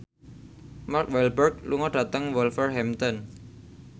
Mark Walberg lunga dhateng Wolverhampton